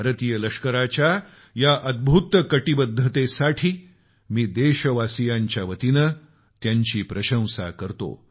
भारतीय लष्कराच्या या अद्भुत कटीबद्धतेसाठी मी देशवासीयांच्या वतीनं त्यांची प्रशंसा करतो